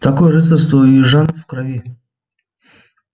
такое рыцарство у южан в крови